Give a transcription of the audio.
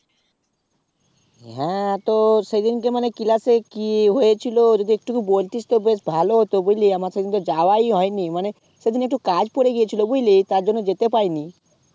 হ্যাঁ তো সেদিন কে মানে class এ কি হয়েছিল যদি একটুকু বলতিস তো বেশ ভালোই হতো বুঝলি আমার তো কি কিন্তু যাওয়ায় হয়নি মানে সেদিন কে একটু কাজ পড়েগেছিলো বুঝলি তার জন্য যেতেই পাইনি